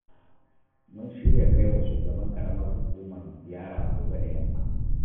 Mun shirya kai wa shugaban ƙaramar hukumarmu ziyara gobe da yamma